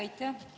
Aitäh!